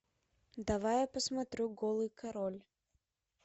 давай я посмотрю голый король